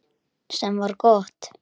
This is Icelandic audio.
Sem var gott.